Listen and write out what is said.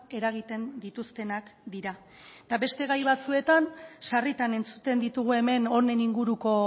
eragiten dituztenak dira eta beste gai batzuetan sarritan entzuten ditugu hemen honen inguruko